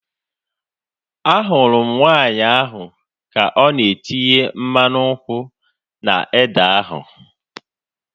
Ahụrụ m nwaanyị ahu ka ọ na-etinye mmanụ nkwụ na ede ahu